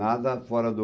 Nada fora do...